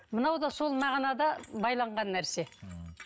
мынау да сол мағынада байланған нәрсе м